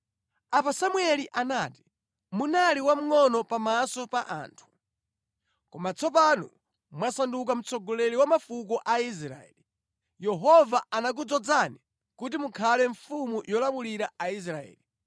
Apo Samueli anati, “Munali wamngʼono pa maso pa anthu, koma tsopano mwasanduka mtsogoleri wa mafuko a Israeli. Yehova anakudzozani kuti mukhale mfumu yolamulira Aisraeli.